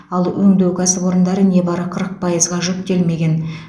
ал өңдеу кәсіпорындары небары қырық пайызға жүктелмеген